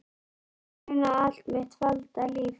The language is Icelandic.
Hana grunaði allt mitt falda líf.